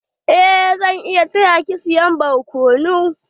Eh zan iya taya ki siya barkonu.